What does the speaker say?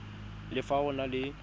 le fa go na le